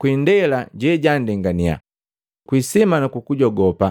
kwi indela je janndengania, ku kwi isima nu kujogopa,